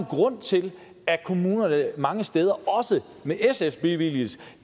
grund til at kommunerne mange steder også med sfs billigelse